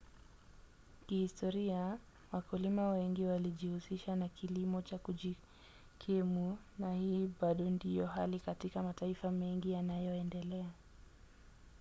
kihistoria wakulima wengi walijihusisha na kilimo cha kujikimu na hii bado ndiyo hali katika mataifa mengi yanayoendelea